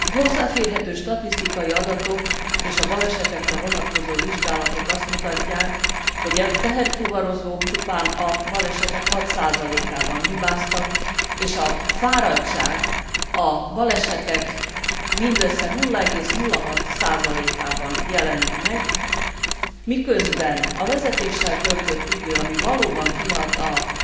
Hozzáférhető statisztikai adatok és a balesetekre vonatkozó vizsgálatok azt mutatják, hogy a teherfuvarozók csupán a balesetek 6 ban hibáztak és a fáradtság a balesetek mindössze 0,06 ban jelenik meg, miközben a vezetéssel töltött idő, ami valóban kihat a